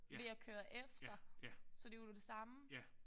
Ved at køre efter. Så det er jo det samme